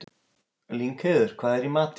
Lyngheiður, hvað er í matinn?